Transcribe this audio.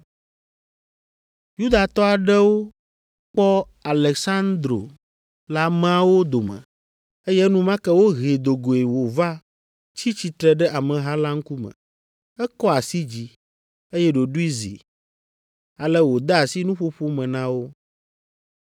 Yudatɔ aɖewo kpɔ Aleksandro le ameawo dome, eye enumake wohee do goe wòva tsi tsitre ɖe ameha la ŋkume. Ekɔ asi dzi, eye ɖoɖoe zi, ale wòde asi nuƒoƒo me na wo.